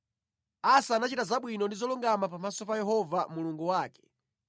Asa anachita zabwino ndi zolungama pamaso pa Yehova Mulungu wake.